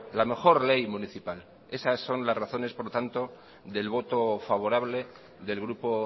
la mejor ley municipal esas son las razones por lo tanto del voto favorable del grupo